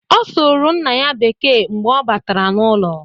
Ọ sụrụ nna ya Bekee mgbe ọ batara n;ụlọ.